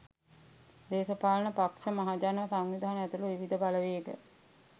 දේශපාලන පක්ෂ මහජන සංවිධාන ඇතුළු විවිධ බලවේග